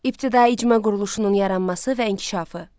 İbtidai icma quruluşunun yaranması və inkişafı.